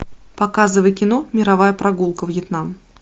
показывай кино мировая прогулка вьетнам